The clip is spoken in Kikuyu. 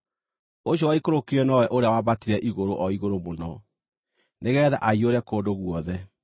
Ũcio waikũrũkire nowe ũrĩa wambatire igũrũ o igũrũ mũno, nĩgeetha aiyũre kũndũ guothe.)